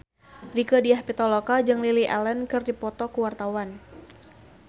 Rieke Diah Pitaloka jeung Lily Allen keur dipoto ku wartawan